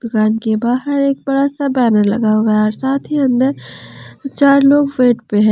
दुकान के बहार एक बड़ा सा बैनर लगा हुआ है और साथ ही अंदर चार लोग पे है।